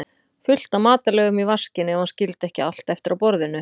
fullt af matarleifum í vaskinn, ef hann skildi ekki allt eftir á borðinu.